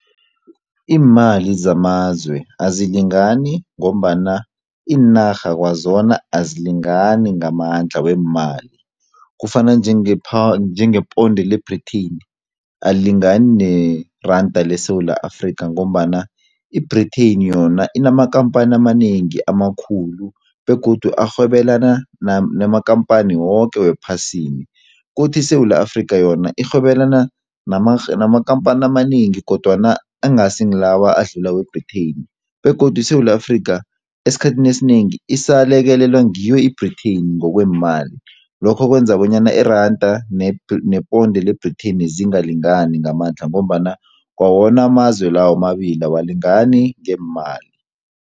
Iimali zamazwe azilingani ngombana iinarha kwazona azilingani ngamandla weemali. Kufana njenge njenge ponde le-Britain alilingani neranda leSewula Afrika ngombana i-Britain yona inamakhamphani amanengi amakhulu begodu arhwebelana namakhamphani woke wephasini, kuthi iSewula Afrika yona irhwebelana namakhamphani amanengi kodwana angasi ngilawa adlula we-Britain begodu iSewula Afrika esikhathini esinengi isalekelelwa ngiyo i-Britain ngokweemali, lokho kwenza bonyana iranda neponde le-Britain zingalingani ngamandla ngombana kwawona amazwe la womabili awalingani ngeemali.